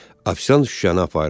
Ofisiant şüşəni apardı.